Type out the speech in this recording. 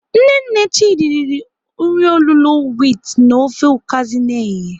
Nne nne Chidi riri nri olulo wit na ofe ukazi n'ehihie.